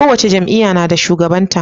Kowace jam'iya nada shugaban ta